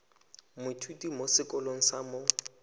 moithuti mo sekolong sa mo